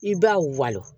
I b'a walo